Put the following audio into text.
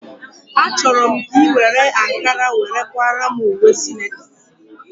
A chọrọ m ka ị were ankara were kwaara m ùwé sinetọ